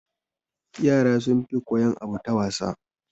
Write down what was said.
Yara sun fi koyan abu ta wasa